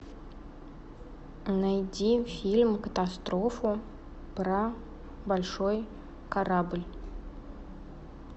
найди фильм катастрофу про большой корабль